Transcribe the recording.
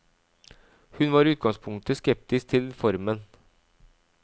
Hun var i utgangspunktet skeptisk til formen.